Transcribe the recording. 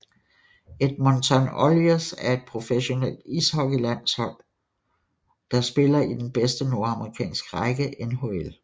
Edmonton Oilers er et professionelt ishockeyhold der spiller i den bedste nordamerikanske række NHL